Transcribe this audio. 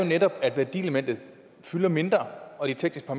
netop at værdielementet fylder mindre og de tekniske